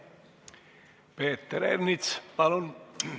Peeter Ernits, palun!